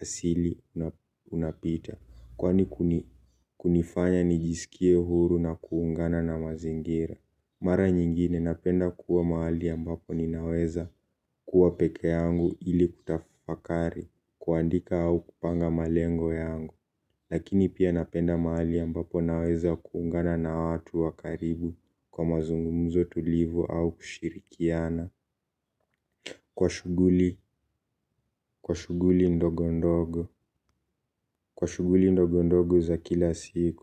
asili unapita. Kwani kunifanya nijisikie huru na kuungana na mazingira. Mara nyingine napenda kuwa mahali ambapo ninaweza kuwa pekee yangu ili kutafakari kuandika au kupanga malengo yangu. Lakini pia napenda mahali ambapo naweza kuungana na watu wa karibu kwa mazungumzo tulivu au kushirikiana. Kwa shughuli, kwa shughuli ndogo ndogo, kwa shughuli ndogo ndogo za kila siku.